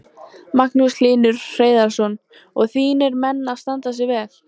Magnús Hlynur Hreiðarsson: Og þínir menn að standa sig vel?